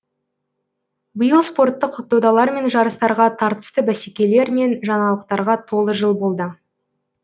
биыл спорттық додалар мен жарыстарға тартысты бәсекелер мен жаңалықтарға толы жыл болды